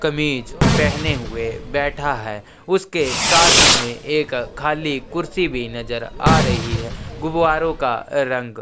कमीज पहने हुए बैठा है उसके साथ ही में एक खाली कुर्सी भी नज़र आ रही है गुवारो का रंग --